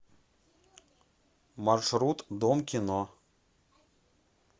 маршрут дом кино